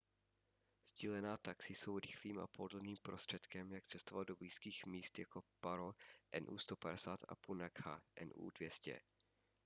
sdílená taxi jsou rychlým a pohodlným prostředkem jak cestovat do blízkých míst jako paro nu 150 a punakha nu 200